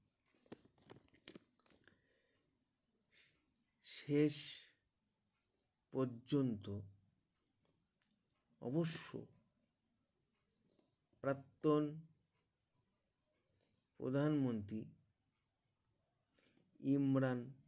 শেষ প্রজন্ত অবশ্য প্রত্যান প্রধানমন্ত্রী ইমরান